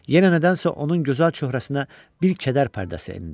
Yenə nədənsə onun gözəl çöhrəsinə bir kədər pərdəsi endi.